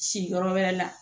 Si yɔrɔ wɛrɛ la